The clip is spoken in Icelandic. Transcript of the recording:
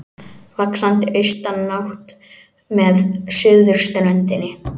Vaxandi austanátt með suðurströndinni